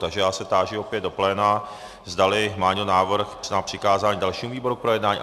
Takže já se táži opět do pléna, zdali má někdo návrh na přikázání dalšímu výboru k projednání.